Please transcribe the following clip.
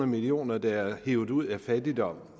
millioner der er hevet ud af fattigdom